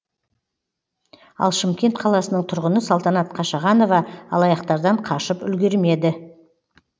ал шымкент қаласының тұрғыны салтанат қашағанова алаяқтардан қашып үлгермеді